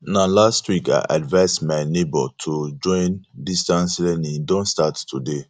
na last week i advice my nebor to join distance learning he don start today